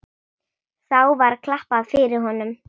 Þá var klappað fyrir honum.